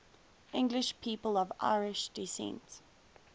english people of irish descent